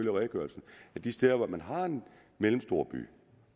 af redegørelsen de steder hvor man har en mellemstor by